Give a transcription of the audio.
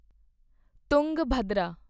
Tungabhadra